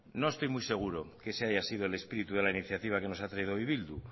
no estoy muy seguro de que eso haya sido el espíritu de la iniciativa que nos traído hoy bildu